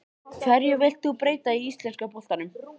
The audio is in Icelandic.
Hverju vilt þú breyta í íslenska boltanum?